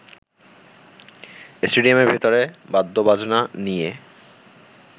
স্টেডিয়ামের ভেতরে বাদ্যবাজনা নিয়ে